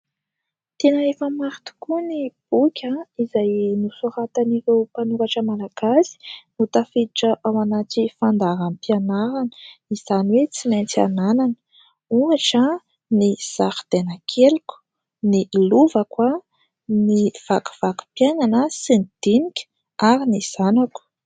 Tena efa maro tokoa ny boky izay nosoratan'ireo mpanoratra Malagasy no tafiditra ao anaty fandaraharam-pianarana, izany hoe : tsy maintsy ananana ohatra : "Ny Zaridainakeliko", "ny Lovako" ary "Ny Vakivakim-piainana" sy "Ny Dinika"ary "Ny Zanako."